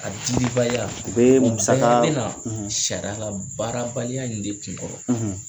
A dibalibaliya o bɛ ubɛ nala baarabaliya in de tunkara kɔrɔ sari ye